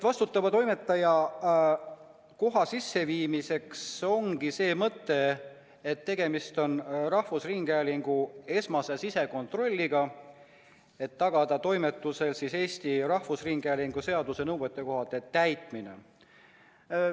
Vastutava toimetaja koha sisseviimisel ongi see mõte, et tegemist on rahvusringhäälingu esmase sisekontrolliga, et tagada toimetuses Eesti Rahvusringhäälingu seaduse nõuetekohane täitmine.